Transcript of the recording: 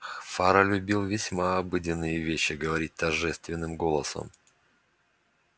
фара любил весьма обыденные вещи говорить торжественным голосом